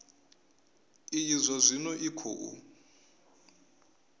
iyi zwa zwino i khou